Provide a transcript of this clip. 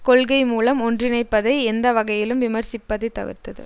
கொள்கை மூலம் ஒன்றிணைப்பதை எந்த வகையிலும் விமர்சிப்பதை தவிர்த்தது